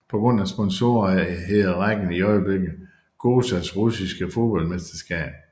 På grund af sponsorere hedder rækken i øjeblikket SOGAZ Russiske Fodboldmesterskab